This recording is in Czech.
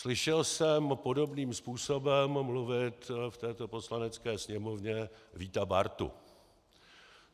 Slyšel jsem podobným způsobem mluvit v této Poslanecké sněmovně Víta Bártu.